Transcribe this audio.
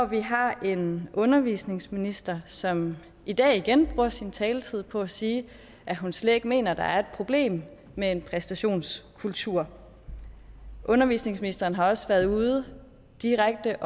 vi har en undervisningsminister som i dag igen bruger sin taletid på at sige at hun slet ikke mener at der er et problem med en præstationskultur undervisningsministeren har også været ude og direkte